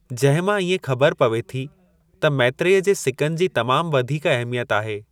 जहिं मां इएं खबर पवे थी त मैत्रेय जे सिकनि जी तमाम वधीक अहमियत आहे।